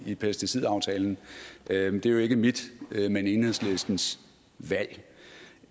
i pesticidaftalen det er jo ikke mit men enhedslistens valg